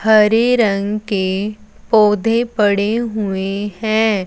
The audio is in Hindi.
हरे रंग के पौधे पड़े हुए है।